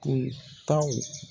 kuntaw.